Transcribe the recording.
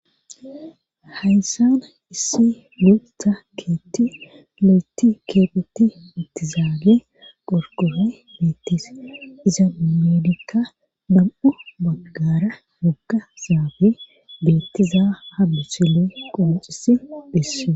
hayssana issi multa keetti lo7eti keephetti ittizaage porkohe beettis iza ameedikka dam7u baggara gogga zaabi beettiza ha busile qoncishe des